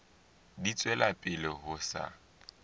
di tswela pele ho sa